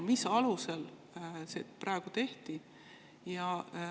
Mis alusel see praegu tehti?